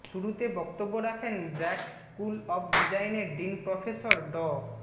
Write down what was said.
শুরুতে বক্তব্য রাখেন ব্র্যাক স্কুল অব ডিজাইনের ডীন প্রফেসর ড